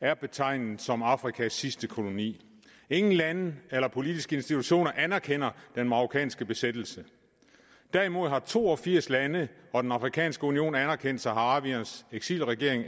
er betegnet som afrikas sidste koloni ingen lande eller politiske institutioner anerkender den marokkanske besættelse derimod har to og firs lande og den afrikanske union anerkendt saharawiernes eksilregering